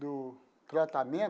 do tratamento.